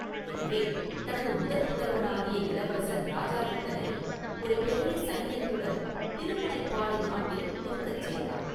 எனவே, தனது முதற்புதல்வனாகிய இளவரசன் இராஜாதித்தனை ஒரு பெரிய சைன்யத்துடன் திருமுனைப்பாடி நாட்டில் இருக்கச் செய்தான்.